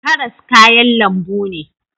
Karas kayan lambu ne